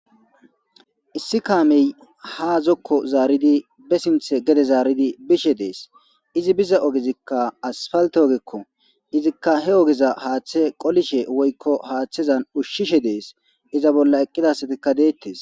Issi kaamey ha zokko zaaridi be sinthe gede zaaridi bishe dees izi biza ogezikka asfalte ogekko izikka he ogeza haaththe qolishe woykko haaththezan ushshishe dees iza bolla eqqidasatikka deettes.